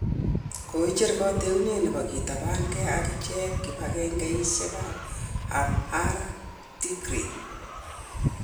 Koicher koteunet nebo kitabaang'ei akicheng' kibang'engeisiek ab Amhara ak Tigray.